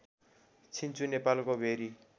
छिन्चु नेपालको भेरी